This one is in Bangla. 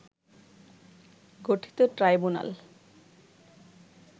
গঠিত ট্রাইব্যুনাল